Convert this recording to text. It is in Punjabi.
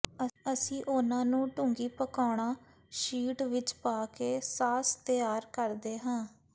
ਅਸੀਂ ਉਨ੍ਹਾਂ ਨੂੰ ਡੂੰਘੀ ਪਕਾਉਣਾ ਸ਼ੀਟ ਵਿਚ ਪਾ ਕੇ ਸਾਸ ਤਿਆਰ ਕਰਦੇ ਹਾਂ